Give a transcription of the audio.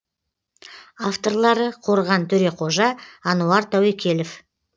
авторлары қорған төреқожа ануар тәуекелов